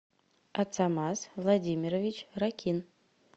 ацамаз владимирович ракин